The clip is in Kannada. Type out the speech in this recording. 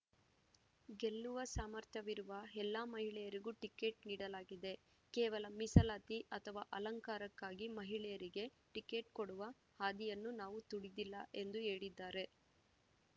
ಗೆಲ್ಲುವ ಸಾಮರ್ಥ್ಯವಿರುವ ಎಲ್ಲ ಮಹಿಳೆಯರಿಗೂ ಟಿಕೆಟ್‌ ನೀಡಲಾಗಿದೆ ಕೇವಲ ಮೀಸಲಾತಿ ಅಥವಾ ಅಲಂಕಾರಕ್ಕಾಗಿ ಮಹಿಳೆಯರಿಗೆ ಟಿಕೆಟ್‌ ಕೊಡುವ ಹಾದಿಯನ್ನು ನಾವು ತುಳಿದಿಲ್ಲ ಎಂದು ಹೇಳಿದ್ದಾರೆ